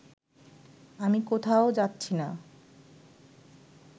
আমি কোত্থাও যাচ্ছি না